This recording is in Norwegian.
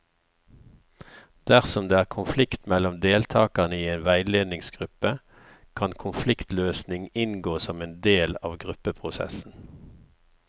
Dersom det er konflikt mellom deltakere i en veiledningsgruppe, kan konfliktløsning inngå som en del av gruppeprosessen.